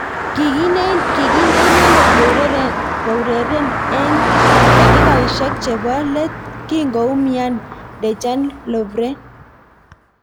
Kikinde inendet koureren eng takikaishek chebo let kingoumian Dejan Lovren.